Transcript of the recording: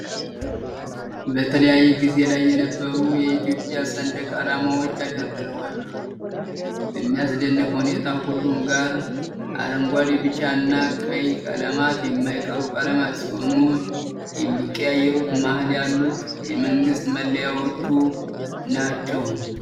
በተለያየ ጊዜ ላይ የነበሩ የኢትዮጵያ ሰንደቅ አላማዎች ተደርድረዋል። በሚያስደንቅ ሁኔታ ሁሉም ጋር አረንጓዴ፣ ቢጫ እና ቀይ ቀለማት የማይቀሩ ቀለማት ሲሆኑ የሚቀያየሩት መሃል ያሉት የመንግስት መለያዎቹ ናቸው።